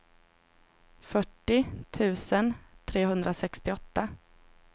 fyrtio tusen trehundrasextioåtta